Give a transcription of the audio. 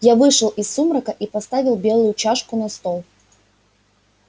я вышел из сумрака и поставил белую чашку на стол